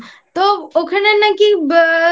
তো ওখানে নাকি